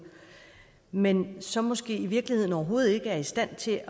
men så måske i virkeligheden overhovedet ikke er i stand til